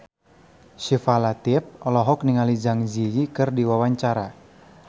Syifa Latief olohok ningali Zang Zi Yi keur diwawancara